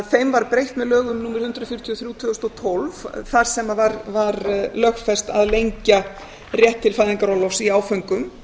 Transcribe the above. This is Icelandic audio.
þeim var breytt með lögum númer hundrað fjörutíu og þrjú tvö þúsund og tólf þar sem var lögfest að lengja rétt til fæðingarorlofs í áföngum